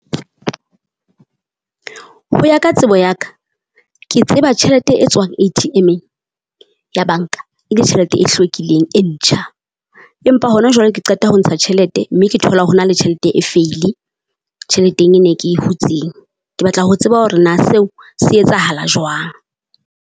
Ho ya ka tsebo ya ka, ke tseba tjhelete e tswang A_T_M-eng ya banka e le tjhelete e hlwekileng e ntjha, empa hona jwale ke qeta ho ntsha tjhelete mme ke thola ho na le tjhelete e vuil-e tjheleteng e ne ke hutseng. Ke batla ho tseba hore na seo se etsahala jwang.